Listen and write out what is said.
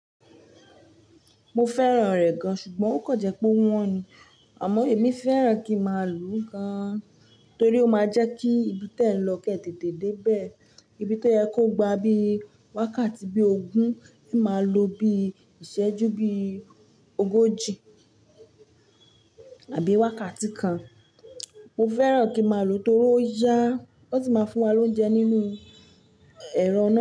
Mo fẹ́ràn rẹ̀ gan, ṣùgbọ́n ó kan jẹ́ pé ó wọ́n ni. Àmọ́ èmi fẹ́ràn kí má lù ú gan, torí ó máa jẹ́ kí ibi tó ẹ̀ lọ kẹ tètè dé bẹ́ẹ̀. Ibi tó yẹ kó gba bí wákàtí bí ogún, ẹ máa lo bí ìṣẹ́jú bí ogójì àbí wákàtí kan. Mo fẹ́ràn kí má lo torí ó yá, ó sì máa fún wa lóúnjẹ nínú ẹ̀rọ.